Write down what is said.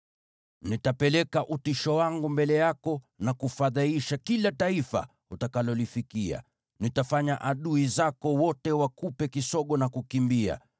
“Nitapeleka utisho wangu mbele yako na kufadhaisha kila taifa utakalolifikia. Nitafanya adui zako wote wakupe kisogo na kukimbia.